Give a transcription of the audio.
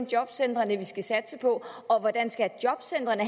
jobcentrene vi skal satse på og hvordan skal jobcentrene